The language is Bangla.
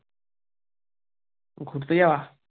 ঘুরতে যাওয়া?